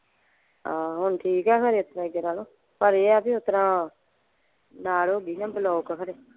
ਆਹੋ ਹੁਣ ਠੀਕ ਆ ਫੇਰ ਇਸਤਰਾਂ ਅੱਗੇ ਨਾਲੋਂ ਪਰ ਇਹ ਆ ਬੀ ਓਸਤਰਾਂ ਨਾੜ ਹੋ ਗਈ ਸੀ ਨਾ ਖਰੇ।